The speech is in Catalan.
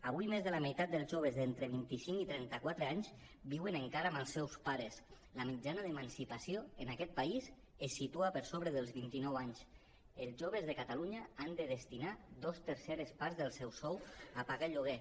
avui més de la meitat dels joves d’entre vint i cinc i trenta quatre anys viuen encara amb els seus pares la mitjana d’emancipació en aquest país es situa per sobre dels vint i nou anys els joves de catalunya han de destinar dos terceres parts del seu sou a pagar el lloguer